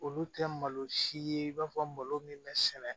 Olu tɛ malo si ye i b'a fɔ malo min bɛ sɛnɛ